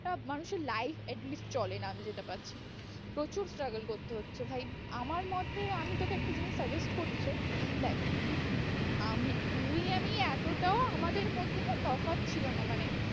একটা মানুষের life at least চলে না আমি যেটা পাচ্ছি, প্রচুর struggle করতে হচ্ছে ভাই আমার মোতে, আমি তোকে একটা জিনিস suggest করতে চাই দেখ আমি, তুই আমি এতটাও আমাদের মধ্যে না তফাৎ ছিল না মানে